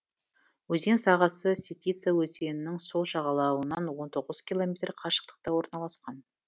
өзен сағасы светица өзенінің сол жағалауынан он тоғыз километр қашықтықта орналасқан